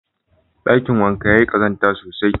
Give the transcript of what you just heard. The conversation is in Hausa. Ɗakin wankan yayi ƙazanta sosai.